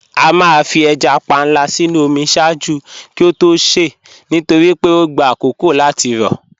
À máà fí èjá pànla sínu omi ṣáàjú kí ó tó ṣè nítorí pé ọ gbà àkókó láti rọ